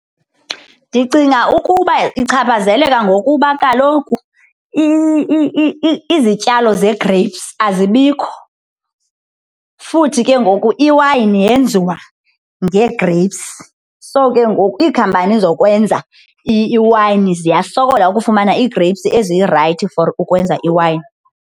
Ndicinga ukuba ichaphazeleka ngokuba kaloku izityalo zegreyipsi azibikho futhi ke ngoku iwayini yenziwa ngegreyipsi. So, ke ngoku iikhampani zokwenza iwayini ziyasokola ukufumana iigreyipsi ezirayithi for ukwenza iwayini.